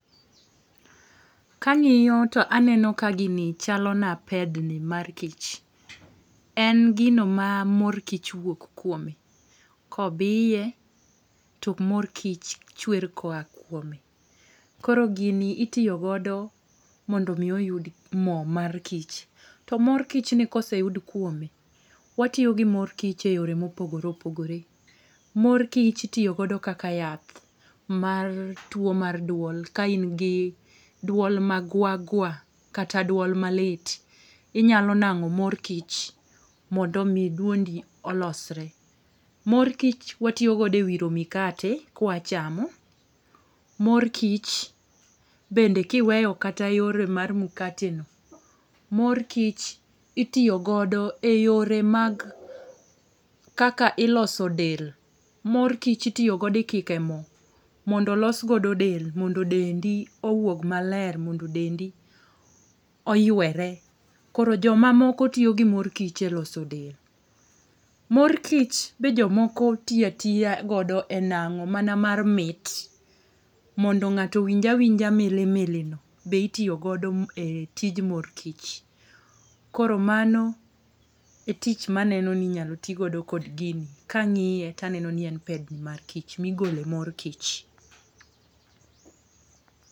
Kang'iyo to aneno ka gini chalona pedni mar kich. En gino ma mor kich wuok kuome kobiye to mor kich chwer koa kuome. Koro gini itiyo godo mondo omi oyud mo mar kich. To mor kichni koseyud kuome, watiyo gi mor kich e yore mopogore opogore. Mor kich itiyo godo kaka yath mar tuwo mar dwol, ka in gi dwol magwa gwa kata dwol malit. Inyalo nang'o mor kich mondo omi dwondi olosre. Mor kich watiyo godo e wiro mkate kwachamo. Mor kich bende kiweyo kata yore mar mkateni, mor kich itiyo godo e yore mag ,kaka iloso del, mor kich itiyo godo ,ikike mo mondo olos godo del mondo dendi owog maler, mondo dendi oywere. Koro jomamoko tiyo gi mor kich e loso del. Mor kich be jomoko tiyo atiya godo e nang'o mana mar mit, mondo ng'ato owinj awinja mili milini, be itiyo godo e tij mor kich. Koro mano e tich maneno ni inyalo ti godo kod gini kang'iye taneno ni en pedni mar kich, migole mor kich.